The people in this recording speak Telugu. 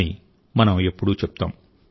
అని మనం ఎప్పుడూ చెప్తాం